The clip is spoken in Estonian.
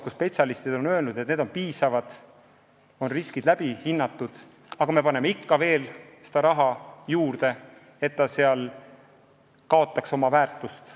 Spetsialistid on öelnud, et reservid on piisavad, riskid on hinnatud, aga me paneme ikka veel raha reservi, kus ta kaotab oma väärtust.